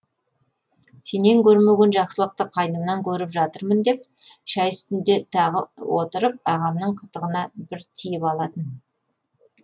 сенен көрмеген жақсылықты қайнымнан көріп жатырмын деп шәй үстінде тағы отырып ағамның қытығына бір тиіп алатын